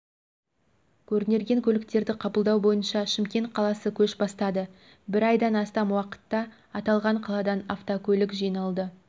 көрнерген көліктерді қабылдау бойынша шымкент қаласы көш бастады бір айдан астам уақытта аталған қаладан автокөлік жиналды